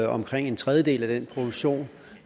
omkring en tredjedel af den produktion